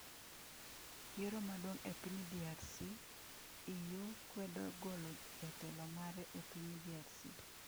Yiero maduong’ e piny DRC: EU kwedo golo jatelo mare e piny DRC